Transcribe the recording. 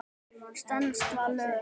Stenst það lög?